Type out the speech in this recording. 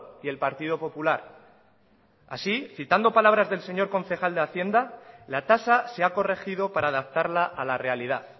y el partido popular así citando palabras del señor concejal de hacienda la tasa se ha corregido para adaptarla a la realidad